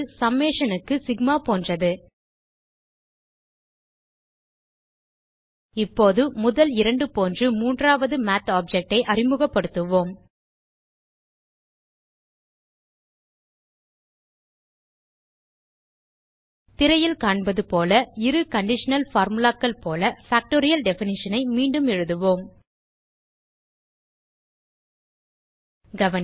summation க்கு sigma போன்றது இப்போது முதல் இரண்டு போன்று மூன்றாவது மாத் ஆப்ஜெக்ட் ஐ அறிமுகப்படுத்துவோம் திரையில் காண்பது போல இரு கண்டிஷனல் formulaகள் போல பாக்டோரியல் டெஃபினிஷன் ஐ மீண்டும் எழுதுவோம் கவனிக்க